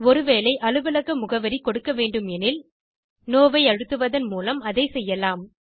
ஒரு வேளை அலுவலக முகவரி கொடுக்க வேண்டுமெனில் நோ ஐ அழுத்துவதன் மூலம் அதைச் செய்யலாம்